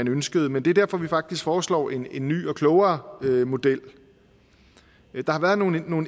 ønskede men det er derfor vi faktisk foreslår en ny og klogere model der har været nogle